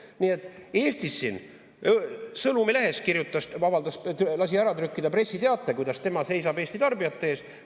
Nii et Eestis siin ajalehes kirjutas, avaldas, lasi ära trükkida pressiteate, kuidas tema seisab Eesti tarbijate eest.